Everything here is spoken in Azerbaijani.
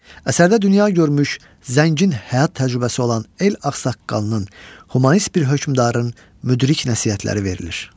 Əsərdə dünya görmüş, zəngin həyat təcrübəsi olan el ağsaqqalının, humanist bir hökmdarın müdrik nəsihətləri verilir.